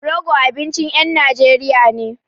Rogo abincin ƴan Najeriya ne.